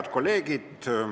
Head kolleegid!